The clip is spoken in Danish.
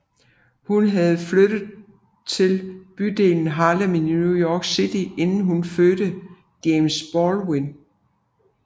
Hun havde flyttet til bydelen Harlem i New York City inden hun fødte James Baldwin